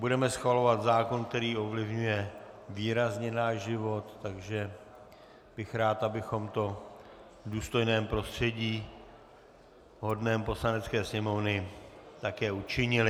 Budeme schvalovat zákon, který ovlivňuje výrazně náš život, takže bych rád, abychom to v důstojném prostředí hodném Poslanecké sněmovny také učinili.